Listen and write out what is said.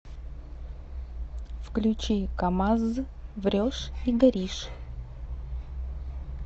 включи камазз врешь и горишь